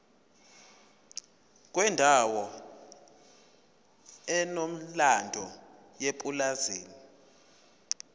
kwendawo enomlando yepulazi